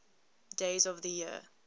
days of the year